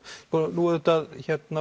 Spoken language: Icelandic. nú auðvitað